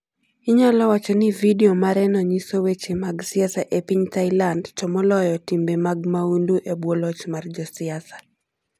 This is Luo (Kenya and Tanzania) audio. Inyalo wach ni vidio mareno nyiso weche mag siasa e piny Thailand, to moloyo timbe mag mahundu e bwo loch mar josiasa.